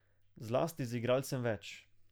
Zlasti z igralcem več.